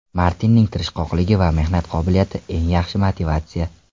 Martinning tirishqoqligi va mehnat qobiliyati – eng yaxshi motivatsiya.